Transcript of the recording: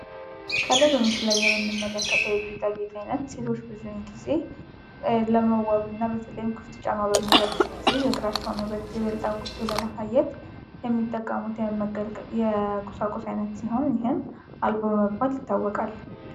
ከላይ በምስሉ ላይ የምንመለከተው የጌጣጌጥ አይነት ሴቶች በዚያን ጊዜ ለመዋብና በተለይም ክፍት ጫማ በሚለብሱ ጊዜ የእግራቸውን ውበት ይበልጥ አጉልቶ ለማሳየት የሚጠቀሙት የቁሳቁስ አይነት ሲሆን ይህም አልቦ በመባል ይታወቃል።